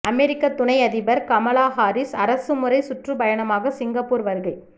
அமெரிக்க துணை அதிபர் Kamala Harris அரசுமுறை சுற்றுப்பயணமாக சிங்கப்பூர் வருகை